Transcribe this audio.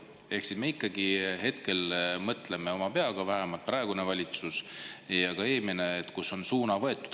Ehk me ikkagi hetkel mõtleme oma peaga, vähemalt praegune valitsus ja ka eelmine, kus on suund võetud.